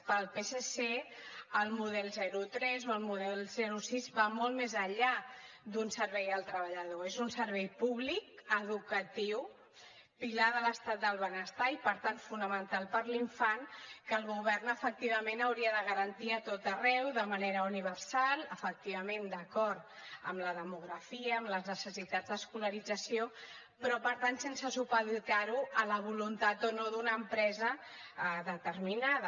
pel psc el model zero tres o el model zero sis va molt més enllà d’un servei al treballador és un servei públic educatiu pilar de l’estat del benestar i per tant fonamental per a l’infant que el govern efectivament hauria de garantir a tot arreu de manera universal efectivament d’acord amb la demografia amb les necessitats d’escolarització però per tant sense supeditar ho a la voluntat o no d’una empresa determinada